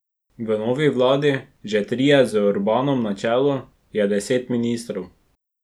V novi vladi, že tretji z Orbanom na čelu, je deset ministrov.